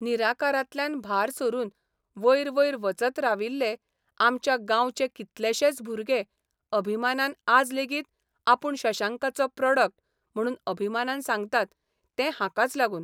निराकारांतल्यान भार सरून वयर वयर वचत राविल्ले आमच्या गांवचे कितलेशेच भुरगे अभिमानान आज लेगीत आपूण शशांकाचो प्रॉडक्ट म्हणून अभिमानान सांगतात ते हाकाच लागून.